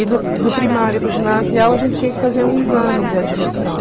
E do do primário para o ginasial a gente tinha que fazer um exame de admissão.